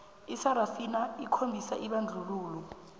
isarafina okhombisa ibandlululo